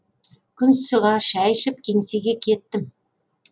күн шыға шай ішіп кеңсеге кеттім